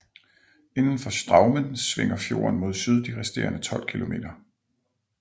Indenfor Straumen svinger fjorden mod syd de resterende tolv kilometer